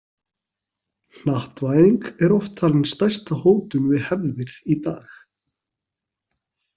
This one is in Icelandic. Hnattvæðing er oft talin stærsta hótun við hefðir í dag.